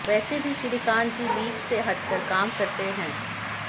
वैसे भी श्रीकांत जी लीक से हटकर काम करते हैं